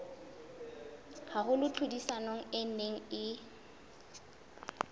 haholo tlhodisanong e neng e